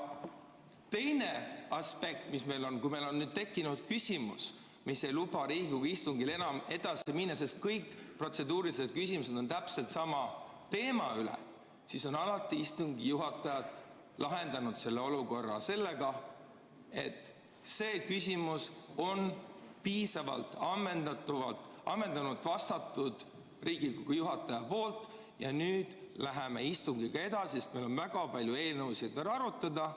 Teine aspekt: kui meil on tekkinud küsimus, mis ei luba Riigikogu istungil enam edasi minna, sest kõik protseduurilised küsimused on täpselt sama teema kohta, siis on istungi juhatajad alati lahendanud selle olukorra, öeldes, et sellele küsimusele on Riigikogu juhataja ammendavalt vastanud ja nüüd läheme istungiga edasi, sest meil on väga palju eelnõusid veel arutada.